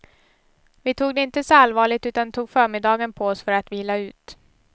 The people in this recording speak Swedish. Vi tog det inte så allvarligt utan tog förmiddagen på oss för att vila ut.